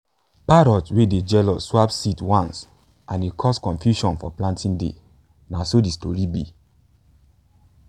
parrot wey dey jealous swap seeds once and e cause confusion for planting day na so de story be